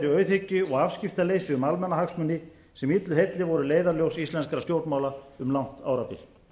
auðhyggju og afskiptaleysi um almannahagsmuni sem illu heilli voru leiðarljós íslenskra stjórnmála en langt árabil